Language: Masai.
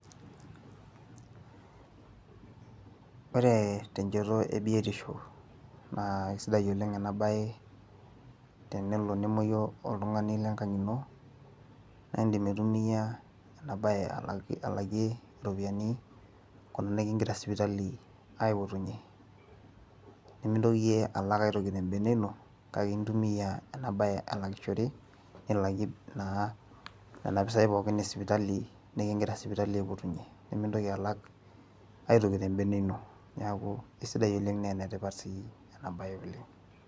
ore tenchoto ebiotisho naa kisidai oleng ena bae tenelo nemuoyu oltungani lenkang' ino naa idim aitumia ena bae alakie iropiyiani nikigira sipitali aipotunye. nemintoki iyie alak aitoki tebene ino, kake intumia ena bae alakishore, nilakie nena pisai pookin esipitali nikigira sipitali aipotunye, nimintoki alak aitoki tebene ino, neeku isidai oleng naa ene tipat sii ena bae oleng.